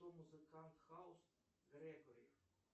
кто музыкант хаус грегори